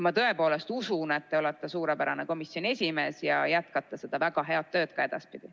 Ma tõepoolest usun, et te olete suurepärane komisjoni esimees ja jätkate seda väga head tööd ka edaspidi.